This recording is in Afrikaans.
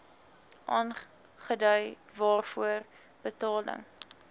aangedui waarvoor betaling